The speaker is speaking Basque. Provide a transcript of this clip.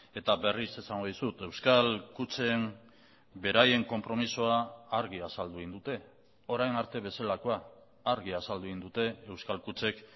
eta berriz esango dizut euskal kutxen beraien konpromisoa argi azaldu egin dute orain arte bezalakoa argi azaldu egin dute euskal kutxek